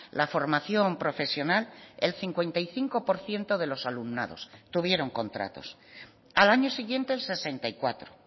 la formación profesional el cincuenta y cinco por ciento de los alumnados tuvieron contratos al año siguiente el sesenta y cuatro